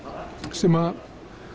sem